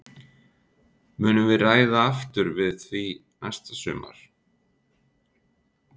Munum við ræða aftur við því næsta sumar?